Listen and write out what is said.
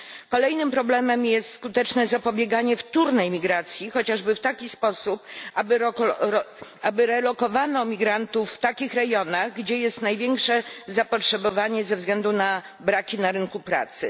Kolejnym problemem jest skuteczne zapobieganie wtórnej migracji chociażby w taki sposób, aby relokowano migrantów w takich rejonach, gdzie jest największe zapotrzebowanie ze względu na braki na rynku pracy.